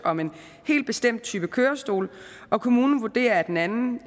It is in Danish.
om en helt bestemt type kørestol og kommunen vurderer at en anden